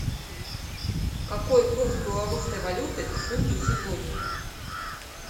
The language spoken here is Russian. какой курс белорусской валюты к фунту сегодня